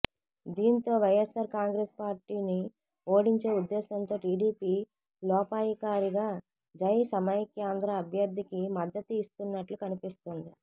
దీంతో వైయస్సార్ కాంగ్రెసు పార్టీని ఓడించే ఉద్దేశంతో టిడిపి లోపాయికారిగా జైసమైక్యాంధ్ర అభ్యర్థికి మద్దతు ఇస్తున్నట్లు కనిపిస్తోంది